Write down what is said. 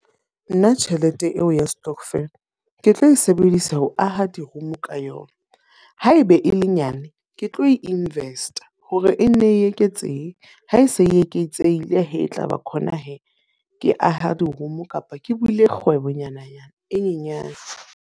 Nna tjhelete eo ya stokvel, ke tlo e sebedisa ho aha di-room ka yona. Haebe e le nyane, ke tlo e invest-a hore e nne e eketsehe ha e se e eketsehile he, tlaba khona he ke aha di-room kapa ke buile kgwebo nyana-nyana e nyenyana.